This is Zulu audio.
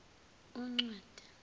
uncwaba